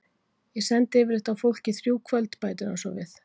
Ég sendi yfirleitt á fólk í þrjú kvöld, bætir hann svo við.